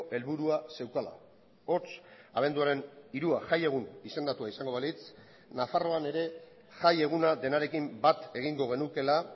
helburua zeukala hots abenduaren hirua jai egun izendatua izango balitz nafarroan ere jai eguna denarekin bat egingo genukeela